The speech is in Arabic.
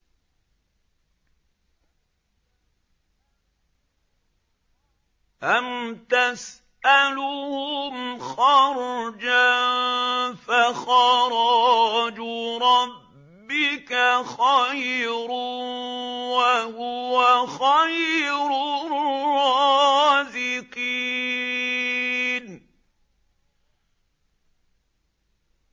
أَمْ تَسْأَلُهُمْ خَرْجًا فَخَرَاجُ رَبِّكَ خَيْرٌ ۖ وَهُوَ خَيْرُ الرَّازِقِينَ